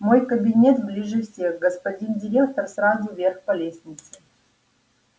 мой кабинет ближе всех господин директор сразу вверх по лестнице